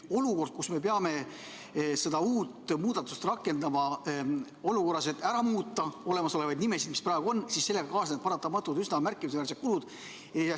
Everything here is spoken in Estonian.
Kui me peame seda muudatust rakendama, et muuta olemasolevaid nimesid, mis praegu on, siis sellega kaasnevad paratamatult üsna märkimisväärsed kulud.